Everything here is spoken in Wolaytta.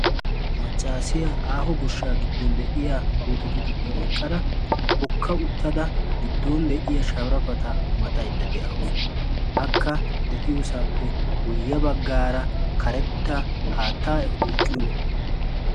maccaasiyaa aaho goshshaa giddon de'iya puutetu giddon eqqada hokka uttada giddon de'iya sharafata maxaydda de'awusu hakka de'iyoosaappe guyye baggaara karetta haattaa duuqqiyo